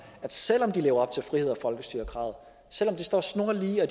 at selv om de lever op til friheds og folkestyrekravet selv om de står snorlige og